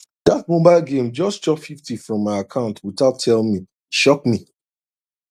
that mobile game just chop 50 from my account without tell me e shock me